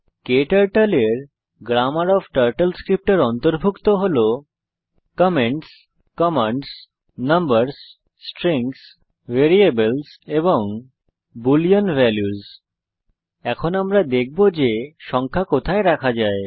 ক্টার্টল এর grammar of TurtleScript এ অন্তর্ভুক্ত comments commands numbers strings variables এবং বুলিন valuesবুলিন ভ্যালুস এখন আমরা দেখব যে সংখ্যা কোথায় রাখা যায়